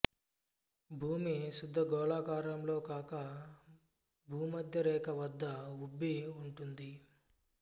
భూమి శుద్ధ గోళాకారంలో కాక భూమధ్య రేఖ వద్ద ఉబ్బి ఉంటుంది